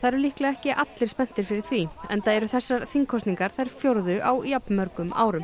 eru líklega ekki allir spenntir fyrir því enda eru þessar þingkosningar þær fjórðu á jafnmörgum árum